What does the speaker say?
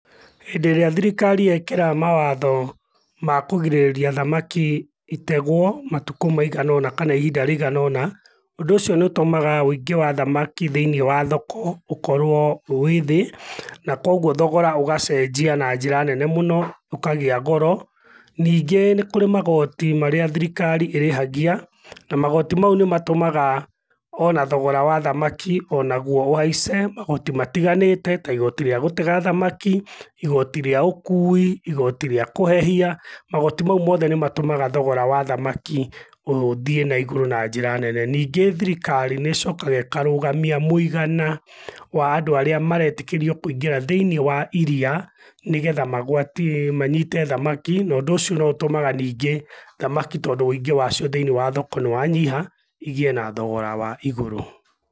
Hĩndĩ ĩrĩa thirikari yekĩra mawatho ma kũgirĩrĩria thamaki itegwo matukũ maigana ũna kana ihinda rĩigana ũna, ũndũ ũcio nĩ ũtũmaga wĩingĩ wa thamakĩ thĩiniĩ wa thoko ũkorwo wĩ thĩ na kogwo thogora ugacenjia na njĩra nene mũno, ũkagĩa goro. Ningĩ nĩ kũrĩ magoti marĩa thirikari ĩrĩhagia, na magoti ma u nĩmatũmaga o na thogora wa thamaki o naguo ũhaice. Magoti matiganĩte ta igoti rĩa gũtega thamaki, igoti rĩa ũkũi, igoti rĩa kũhehia, magoti ma u mothe nĩ matũmaga thogora wa thamaki ũthiĩ na igũrũ na njĩra nene. Ningĩ thirikarĩ nĩ ĩcokaga ĩkarũgamia mũigana wa andũ arĩa maretĩkĩrio kũingĩra thiĩniĩ wa iria nĩgetha magwatie manyite thamaki na ũndũ ũcio no ũtũmaga ningĩ thamaki tondũ wĩingi wacio thĩiniĩ wa thoko nĩ wanyiha igĩe na thogora wa igũrũ.